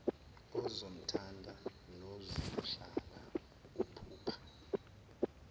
ozomthanda nozuhlala uphupha